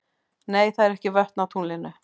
Nei, það eru ekki vötn á tunglinu.